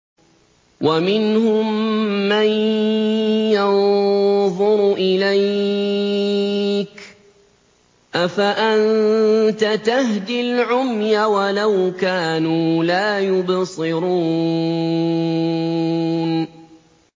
وَمِنْهُم مَّن يَنظُرُ إِلَيْكَ ۚ أَفَأَنتَ تَهْدِي الْعُمْيَ وَلَوْ كَانُوا لَا يُبْصِرُونَ